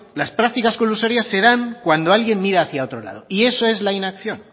las prácticas colusorias se dan cuando alguien mira hacia otro lado y eso es la inacción